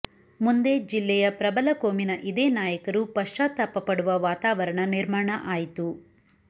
ಮುಂದೆ ಜಿಲ್ಲೆಯ ಪ್ರಬಲ ಕೋಮಿನ ಇದೇ ನಾಯಕರು ಪಶ್ಚಾತಾಪಪಡುವ ವಾತಾವರಣ ನಿರ್ಮಾಣ ಆಯಿತು